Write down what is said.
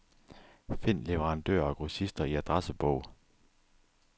Find leverandører og grossister i adressebog.